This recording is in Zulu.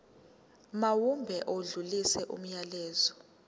mawube odlulisa umyalezo